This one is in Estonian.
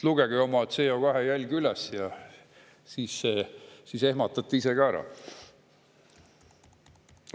Lugege oma CO2-jälg kokku ja siis ehmatate ise ka ära.